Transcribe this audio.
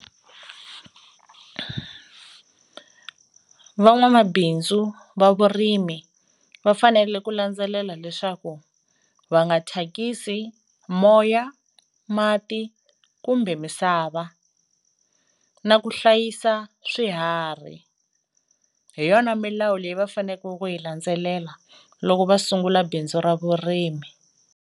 Van'wamabindzu va vurimi va fanele ku landzelela leswaku va nga thyakisi moya, mati, kumbe misava, na ku hlayisa swiharhi, hi yona milawu leyi va faneku ku yi landzelela loko va sungula bindzu ra vurimi.